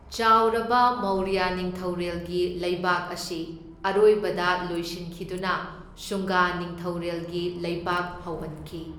ꯆꯥꯎꯔꯕ ꯃꯧꯔꯌ ꯅꯤꯡꯊꯧꯔꯦꯜꯒꯤ ꯂꯩꯕꯥꯛ ꯑꯁꯤ ꯑꯔꯣꯏꯕꯗ ꯂꯣꯏꯁꯤꯟꯈꯤꯗꯨꯅ ꯁꯨꯡꯒꯥ ꯅꯤꯡꯊꯧꯔꯦꯜꯒꯤ ꯂꯩꯕꯥꯛ ꯍꯧꯍꯟꯈꯤ꯫